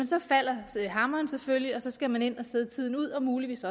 så falder hammeren selvfølgelig og så skal man ind og sidde tiden ud og muligvis